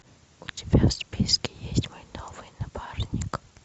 у тебя в списке есть мой новый напарник